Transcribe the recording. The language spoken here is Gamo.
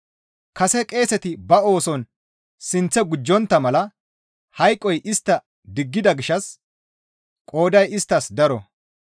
Kase qeeseti ba ooson sinththe gujjontta mala hayqoy istta diggida gishshas qooday isttas daro.